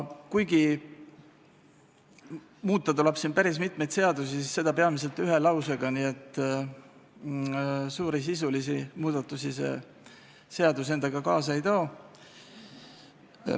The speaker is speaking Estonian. Kuigi muuta tuleb päris mitmeid seadusi, siis seda tehakse peamiselt ühe lausega, nii et suuri sisulisi muudatusi see seadus endaga kaasa ei too.